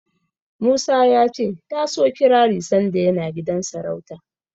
Musa ya ce ya so kirari sanda yana gidan sarauta.